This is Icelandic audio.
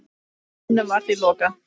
Staðnum var því lokað.